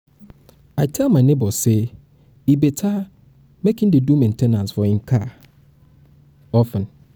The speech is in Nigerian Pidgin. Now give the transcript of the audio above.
i tell my nebor say e say e better make he dey do main ten ance for him car of ten